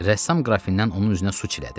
Rəssam qrafindən onun üzünə su çilədi.